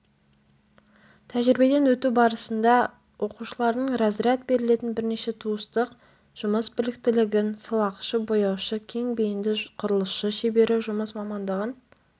тәжірибеден өту барысында оқушылардың разряд берілетін бірнеше туыстық жұмыс біліктілігін сылақшы бояушы кең бейінді құрылысшы-шебері жұмыс мамандығын